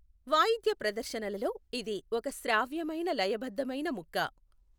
వాయిద్య ప్రదర్శనలలో, ఇది ఒక శ్రావ్యమైన లయ బద్ధమైన ముక్క .